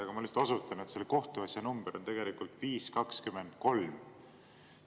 Aga ma lihtsalt osutan, et selle kohtuasja number on tegelikult 5‑23.